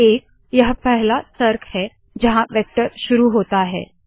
एक यह पहला तर्क है जहाँ वेक्टर शुरू होता है